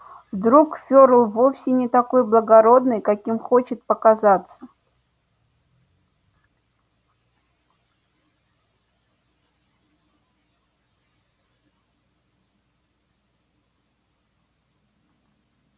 вдруг фёрл вовсе не такой благородный каким хочет показаться